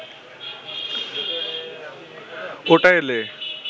ওটা এলে